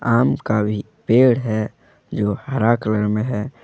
आम का भी पेड़ है जो हरा कलर में है।